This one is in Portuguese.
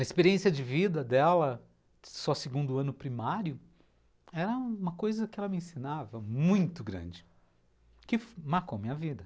A experiência de vida dela, só segundo ano primário, era uma coisa que ela me ensinava muito grande, que marcou a minha vida.